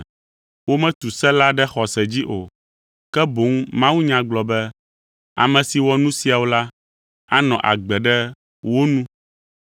Wometu se la ɖe xɔse dzi o, ke boŋ mawunya gblɔ be, “Ame si wɔ nu siawo la, anɔ agbe ɖe wo nu.”